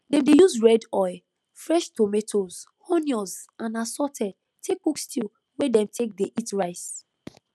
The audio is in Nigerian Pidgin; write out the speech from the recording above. dem dey use red oil fresh tomatoes onions and assorted take cook stew wey dem take dey eat rice